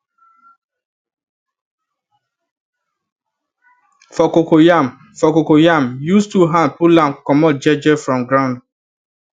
for cocoyam for cocoyam use two hand pull am comot je je from ground